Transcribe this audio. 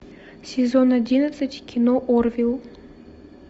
сезон одиннадцать кино орвилл